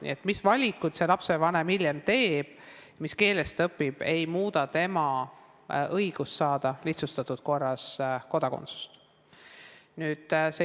Nii et hoolimata sellest, mis valikud see lapsevanem hiljem teeb ja mis keeles laps õpib, see ei muuda tema õigust saada lihtsustatud korras kodakondsust.